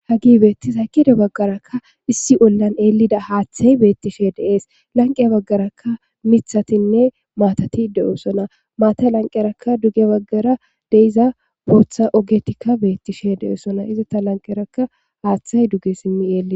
Hagi beettis aykide baggarakka issi ollan eelida haaththay beettishe deees lanqiya baggarakka mithatinne maatati de7osona maata lanqerakka duge baggara de iza booththa ogetikka beettishe de7esona iza ta lanqerakka haaththay duge simmi eeli